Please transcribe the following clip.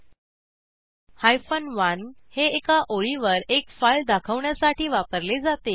1 hyphen one हे एका ओळीवर एक फाईल दाखवण्यासाठी वापरले जाते